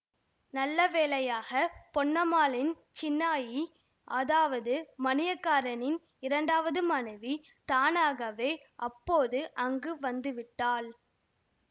நல்ல வேளையாக பொன்னம்மாளின் சின்னாயி அதாவது மணியக்காரரின் இரண்டாவது மனைவி தானாகவே அப்போது அங்கு வந்து விட்டாள்